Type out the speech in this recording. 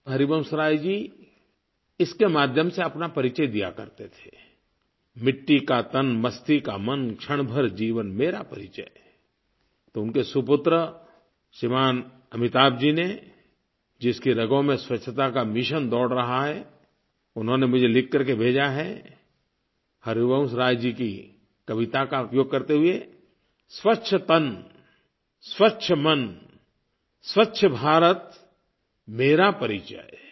हरिवंशराय जी इसके माध्यम से अपना परिचय दिया करते थेI मिट्टी का तन मस्ती का मन क्षण भर जीवन मेरा परिचय तो उनके सुपुत्र श्रीमान अमिताभ जी ने जिसकी रगों में स्वच्छता का मिशन दौड़ रहा है उन्होंने मुझे लिखकर के भेजा है हरिवंशराय जी की कविता का उपयोग करते हुए स्वच्छ तन स्वच्छ मन स्वच्छ भारत मेरा परिचय